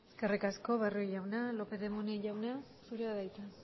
eskerrik asko barrio jauna lópez de munain jauna zurea da hitza